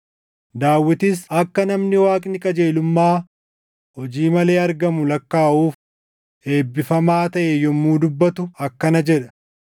Daawitis akka namni Waaqni qajeelummaa hojii malee argamu lakkaaʼuuf eebbifamaa taʼe yommuu dubbatu akkana jedha: